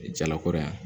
Jalakɔrɔ yan